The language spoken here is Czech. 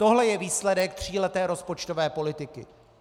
Tohle je výsledek tříleté rozpočtové politiky.